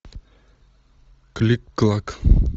клик клак